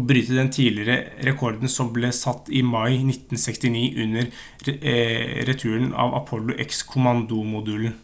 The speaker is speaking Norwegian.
og bryte den tidligere rekorden som ble satt i mai 1969 under returen av apollo x-kommandomodulen